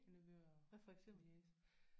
Nevøer og niece